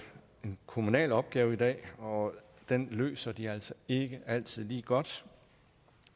en kommunal opgave og den løser de altså ikke altid lige godt